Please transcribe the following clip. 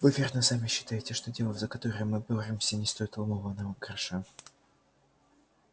вы верно сами считаете что дело за которое мы боремся не стоит ломаного гроша